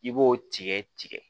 I b'o tigɛ tigɛ